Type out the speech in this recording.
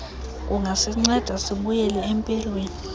kungasinceda sibuyele empilweni